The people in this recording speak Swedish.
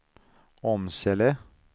Åmsele